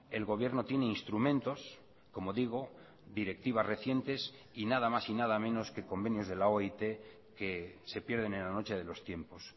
el gobierno tiene instrumentos como digo directivas recientes y nada más y nada menos que convenios de la oit que se pierden en la noche de los tiempos